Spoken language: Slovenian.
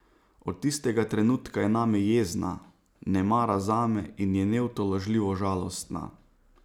Od tistega trenutka je name jezna, ne mara zame in je neutolažljivo žalostna.